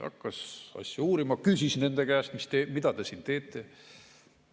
Hakkas asja uurima, küsis nende käest, mida te siin teete.